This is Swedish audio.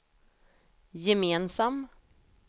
gemensam